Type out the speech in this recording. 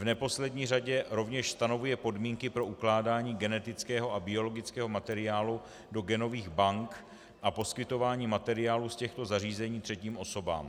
V neposlední řadě rovněž stanovuje podmínky pro ukládání genetického a biologického materiálu do genových bank a poskytování materiálu z těchto zařízení třetím osobám.